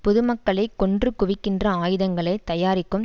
பொதுமக்களை கொன்று குவிக்கின்ற ஆயுதங்களை தயாரிக்கும்